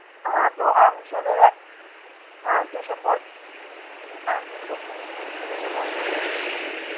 হা তো আমচোরের, হা দুশো পঞ্চাশ হা দুশো হা দুশো পঞ্চাশ গ্রাম তা দিয়ে দিন.